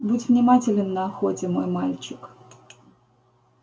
будь внимателен на охоте мой мальчик